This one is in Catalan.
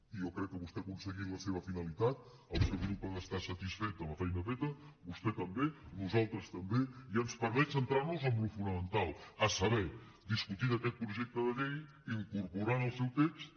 i jo crec que vostè ha aconseguit la seva finalitat el seu grup ha d’estar satisfet de la feina feta vostè també nosaltres també i ens permet centrarnos en allò fonamental a saber discutir d’aquest projecte de llei incorporant el seu text